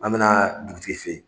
An bina dugutigi fe yen